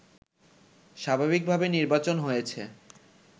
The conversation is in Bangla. স্বাভাবিকভাবে নির্বাচন হয়েছে